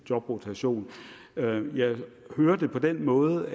jobrotation jeg har hørt det på den måde